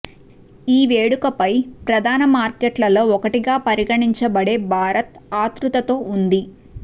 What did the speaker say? ఈ వేడుక పై ప్రధాన మార్కెట్లలో ఒకటిగా పరిగణించబడే భారత్ ఆత్రుతతో ఉంది